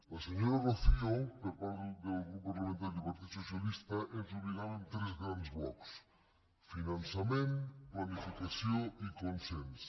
la senyora rocío per part del grup parlamentari del partit socialista ens ubicava en tres grans blocs finançament planificació i consens